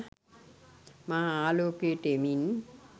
මා ආලෝකයට එමින්